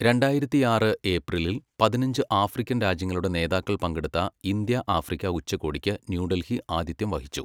രണ്ടായിരത്തിയാറ് ഏപ്രിലിൽ പതിനഞ്ച് ആഫ്രിക്കൻ രാജ്യങ്ങളുടെ നേതാക്കൾ പങ്കെടുത്ത ഇന്ത്യ ആഫ്രിക്ക ഉച്ചകോടിക്ക് ന്യൂഡൽഹി ആതിഥ്യം വഹിച്ചു.